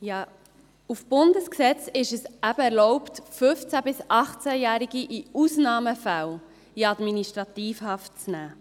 Gemäss Bundesgesetz ist es eben erlaubt, 15- bis 18-Jährige in Ausnahmefällen in Administrativhaft zu nehmen.